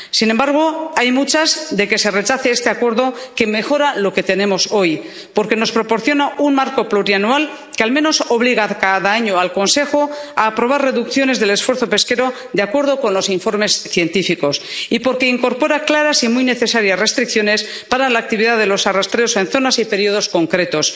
Sin embargo, hay muchas de que se rechace este acuerdo, que mejora lo que tenemos hoy porque nos proporciona un marco plurianual que al menos obliga cada año al Consejo a aprobar reducciones del esfuerzo pesquero de acuerdo con los informes científicos y porque incorpora claras y muy necesaria restricciones para la actividad de los arrastreros en zonas y periodos concretos.